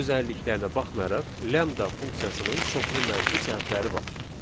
Bu özəlliklərinə baxmayaraq lambda funksiyasının çoxlu mənfi cəhətləri var.